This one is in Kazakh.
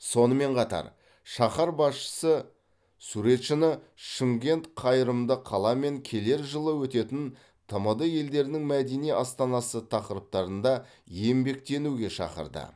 сонымен қатар шаһар басшысы суретшіні шымкент қайырымды қала мен келер жылы өтетін тмд елдерінің мәдени астанасы тақырыптарында еңбектенуге шақырды